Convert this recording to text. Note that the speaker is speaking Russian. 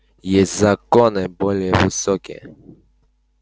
есть законы более высокие